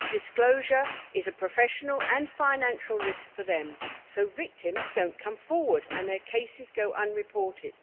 Disclosure is a professional and financial risk for them, so victims don't come forward and their cases go unreported.